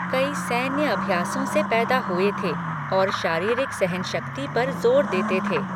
कई सैन्य अभ्यासों से पैदा हुए थे और शारीरिक सहनशक्ति पर ज़ोर देते थे।